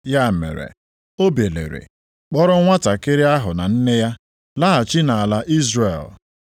Ya mere, o biliri, kpọọrọ nwantakịrị ahụ na nne ya, laghachi nʼala Izrel.